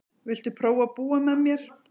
Viltu prófa að búa með mér.